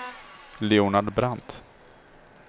Leonard Brandt